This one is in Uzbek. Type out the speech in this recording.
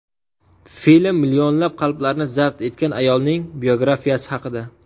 Film millionlab qalblarni zabt etgan ayolning biografiyasi haqida.